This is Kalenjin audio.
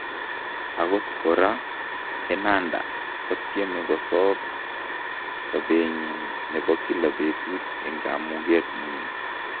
Akot koraa , Fernanda kotyeme kosoob sobeenyin nebo kila betut en kamuget nyin .